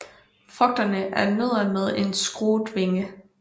Frugterne er nødder med en skruet vinge